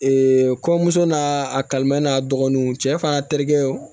kɔɲɔmuso n'a a kalimɛ n'a dɔgɔninw cɛ fana terikɛw